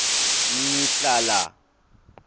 ngihlala